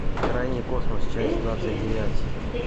крайний космос часть двадцать девять